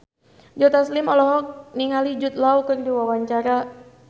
Joe Taslim olohok ningali Jude Law keur diwawancara